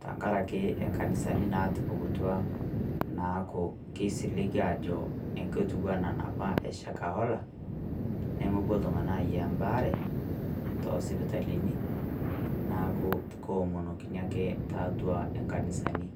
tang'araki enkanisani natupukutua naaku keisiling'i ajo e kotua naa napaa e Shakahola. Nemepoo ltung'ana anyia baare to sipitalini naaku keomonokini ake teatua enkanisani.